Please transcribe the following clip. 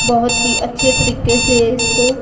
बहोत ही अच्छे तरीके से इसको--